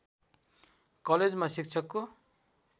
कलेजमा शिक्षकको